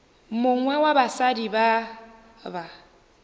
mongwe wa basadi ba ba